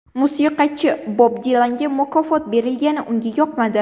Musiqachi Bob Dilanga mukofot berilgani unga yoqmadi.